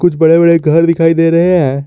कुछ बड़े बड़े घर दिखाई दे रहे हैं।